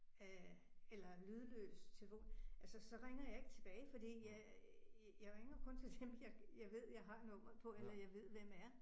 Øh eller lydløs telefon, ja så så ringer jeg ikke tilbage fordi jeg jeg ringer kun til dem, jeg ved jeg har nummeret på eller jeg ved, hvem er